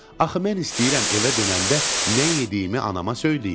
Axı mən istəyirəm evə dönəndə nə yediyimi anama söyləyim.